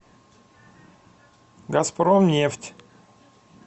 газпромнефть